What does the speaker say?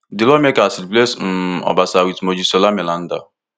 di lawmakers replace um obasa wit mojisola meranda